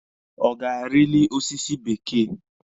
Ọ ga-arili ọsịsọ bekee?